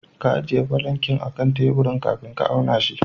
Ka ajiye falankin akan teburin kafin ka auna shi.